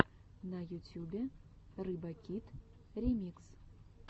на ютюбе рыбакит ремикс